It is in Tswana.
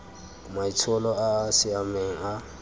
maitsholo a a siameng a